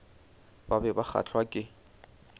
ba be ba kgahlwa ke